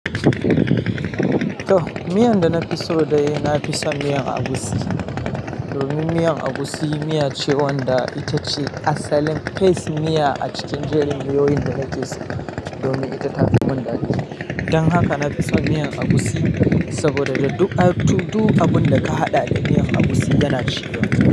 To, miyan da na fi so dai, na fi so miyan agusi. Domin miyan agusi miya ce wanda ita ce asalin fes miya a cikin jerin miyoyin da nake so domin ita ta fi mun daɗi. Don haka na fi son miyan agusi saboda duka, duk abun da ka haɗa da miyan agusi yana ciwa.